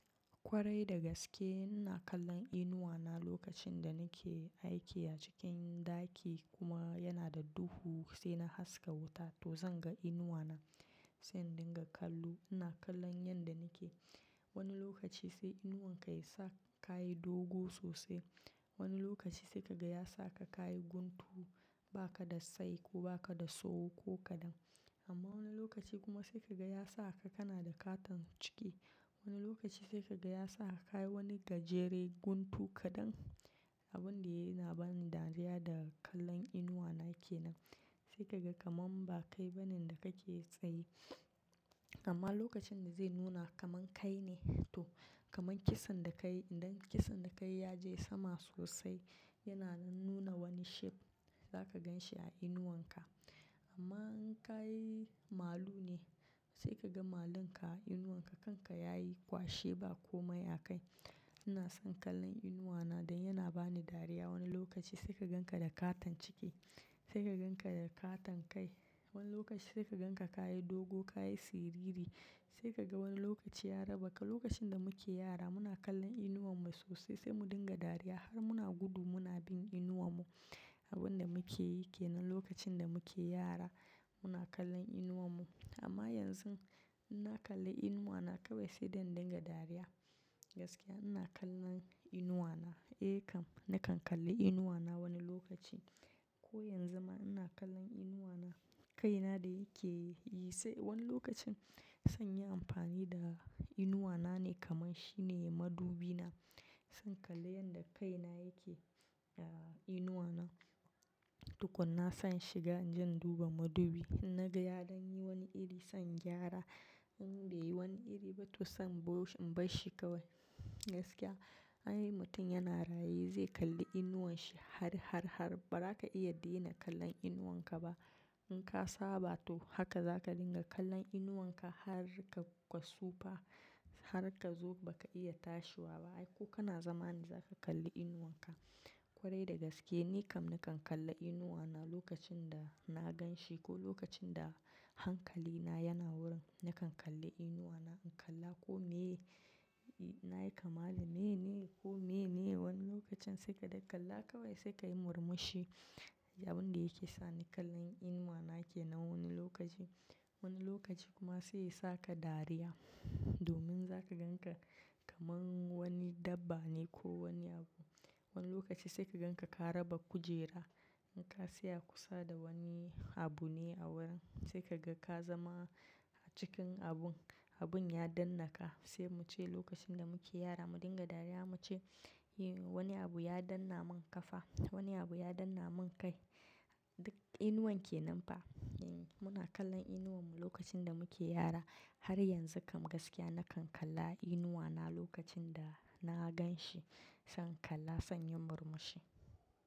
Kwarai da gaske ina kallon inuwa na lokacin da nake aiki a cikin ɗaki kuma yana da duhu sai na haska wuta to zan ga inuwa na. Sai in dinga kallo ina kallon yanda nake. Wani lokaci sai inuwan ka ya sa ka yi dogo sosai. Wani lokaci sai ka ga ya sa ka ka yi guntu ba ka da tsayi ko ba ka da tsawo ko kaɗan. Amma wani lokaci kuma sai ka ga ya sa ka, kana da ƙaton ciki. Wani lokaci sai ka ga ya sa ka ka yi wani gajere guntu kaɗan. Abin yana bani dariya da kallon inuwa na ke nan. Sai ka ga kamar ba kai ba ne da kake tsaye. Amma lokacin da zai nuna kaman kai ne to kaman kisan da ka yi idan kisan da ka yi ya je sama sosai yana nuna wani shape za ka gan shi a inuwan ka. Amma in ka yi malu ne sai ka ga malun ka a inuwan ka kan ka ya yi kwashe ba komai a kai. Ina son kallon inuwa na dan yana bani dariya. Wani lokaci sai ka gan ka da ƙaton ciki, sai ka gan ka da ƙaton kai. Wani lokaci sai ka gan ka ka yi dogo, ka yi siriri. Sai ka ga wani lokaci ya raba ka. Lokacin da muke yara muna kallon inuwan mu sosai sai mu dinga dariya har muna gudu muna bin inuwar mu. Abin da muke yai ke nan lokacin da muke yara muna kallon inuwan mu. Amma yanzu in na kalli inuwa na kawai sai dai in dinga dariya. Gaskiya ina kallon inuwa na. Eh kam, nakan kalle inuwa na wani lokaci. Ko yanzu ma ina kallon inuwa na. Kai na da yake yi sai wani lokacin zan yi amfani da inuwa na ne kaman shi ne madubi na. Zan kalla yanda kai na yake a inuwa na. Tukuna zan shiga inje in duba madubi. Idan naga yayi dan yi wani iri zan gyara in bai yi wani iri ba to zan barshi kawai Gaskiya anyi mutum yana raye zai kalli inuwan shi har, har, har ba za ka iya dena kallon inuwan ka ba. In ka saba to haka za ka dinga kallon inuwan ka har ka tsufa har ka zo ba ka iya tashi ba. Ai ko kana zama ne za ka kalli inuwan ka. Kwarai da gaske ni kam nakan kalla inuwa na lokacin da na gan shi ko lokacin da hankali na yana wurin nakan kalli inuwa na. In kalla ko me na yi kama dani ne ko me ne. Wani lokacin sai ka dai kalla kawai sai ka yi murmushi. Abin da yake sani kallon inuwa nake nan wani lokaci. Wani lokaci kuma sai ya sa ka dariya domin za ka gan ka kaman wani dabba ne ko wani abu. Wani lokaci sai ka gan ka ka raba kujera. In ka saya kusa da wani abu ne a wurin sai ka ga ka zama a cikin abun. Abun ya dannaka. Sai mu ce lokacin da muke yara mu dinga dariya mu ce, "Eh wani abu ya danna mun kafa, wani abu ya danna mun kai." Duk inuwan ke nan fa. Muna kallon inuwan mu lokacin da muke yara har yanzu kam gaskiya nakan kalla inuwa na lokacin da na gan shi. Zan kalla, zan yi murmushi.